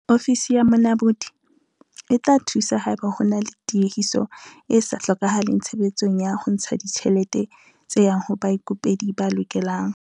Ofisi ya Monamodi e tla thusa haeba ho na le tiehiso e sa hlokahaleng tshebetsong ya ho ntsha ditjhelete tse yang ho baikopedi ba lokelang.